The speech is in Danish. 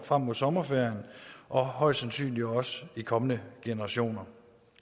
frem mod sommerferien og højst sandsynligt også i kommende generationer